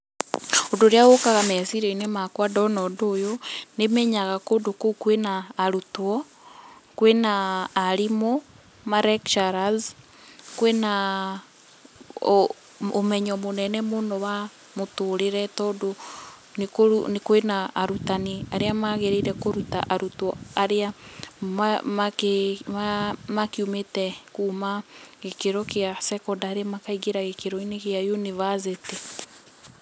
Ũndũ ũrĩa ũkaga meciria-inĩ makwa ndona ũndũ ũyũ, nĩmenyaga kou kwĩna arutwo, kwĩna arimũ, ma lecturers kwĩna ũmenyo mũnene mũno wa mũtũrĩre tondũ kwĩna arutani arĩa magĩrĩire kũruta arutwo arĩa ma makiumĩte kuma gĩkĩro gĩa Secondary makaingĩra gĩkĩro-inĩ gĩa University